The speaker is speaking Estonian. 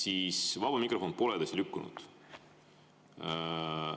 Aga vaba mikrofon pole edasi lükkunud.